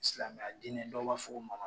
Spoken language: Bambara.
Silamɛya dinɛ dɔw b'a fo ma